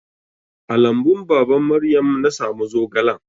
A lambun baban Maryam na samu zogalan.